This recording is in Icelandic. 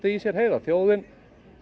í sér heyra þjóðin